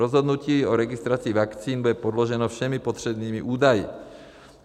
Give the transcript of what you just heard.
Rozhodnutí o registraci vakcín bude podloženo všemi potřebnými údaji.